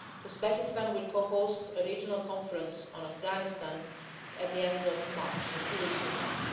Uzbekistan will co host a regional conference on Afghanistan at the end of March, in a few weeks from now.